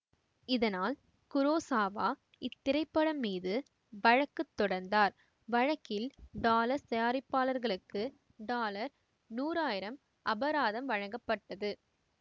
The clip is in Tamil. இதனால் குரோசாவா இத்திரைப்படம் மீது வழக்கு தொடர்ந்தார் வழக்கில் டாலர்ஸ் தயாரிப்பாளர்களுக்கு டாலர் நூறாயிரம் அபராதம் வழங்கப்பட்டது